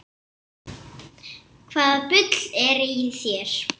Hvaða bull er í þér?